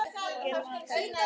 Gylfi, hækkaðu í hátalaranum.